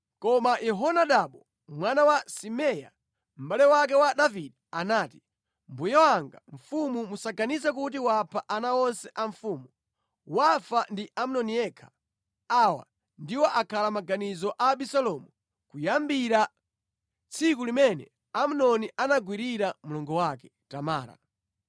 Koma Yehonadabu mwana wa Simea, mʼbale wake wa Davide anati, “Mbuye wanga mfumu musaganize kuti wapha ana onse a mfumu; wafa ndi Amnoni yekha. Awa ndiwo akhala maganizo a Abisalomu kuyambira tsiku limene Amnoni anagwirira mlongo wake Tamara.